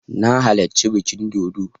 Na halarci bikin dodo